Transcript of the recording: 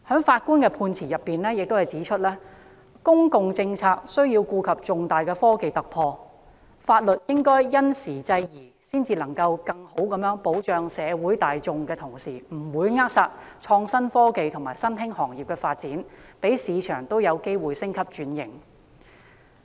法官在相關案件的判詞中指出，公共政策須顧及重大的科技突破，法律應因時制宜，才能在更好地保障社會大眾的同時，不會扼殺創新科技和新興行業的發展，讓市場也有機會升級轉型。